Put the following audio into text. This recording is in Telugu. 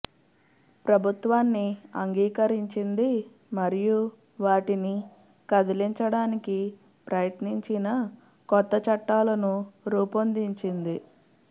ప్రభుత్వాన్ని అంగీకరించింది మరియు వాటిని కదిలించడానికి ప్రయత్నించిన కొత్త చట్టాలను రూపొందించింది